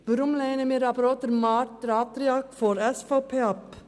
Weshalb lehnen wir auch den Antrag der SVP ab?